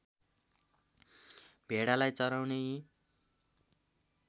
भेडालाई चराउने यी